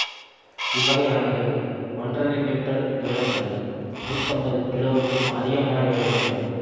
இவ்வகை ஆமைகள் ஒன்றரை மீட்டர் நீளம் கொண்டவை நூற்றி ஐம்பது கிலோவுக்கும் அதிகமான எடையுடன் இருக்கும்